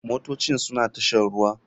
Motocin suna tashar ruwa.